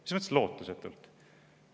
Mis mõttes lootusetult?